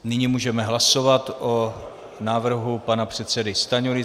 Nyní můžeme hlasovat o návrhu pana předsedy Stanjury.